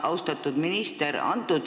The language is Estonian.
Austatud minister!